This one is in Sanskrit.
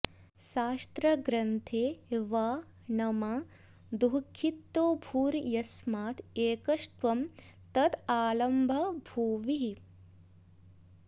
शास्त्रग्रन्थे वा न मा दुःखितो भू र्यस्मादेकस्त्वं तदालम्बभूभिः